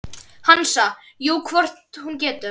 Hansa: Jú, hvort hún getur.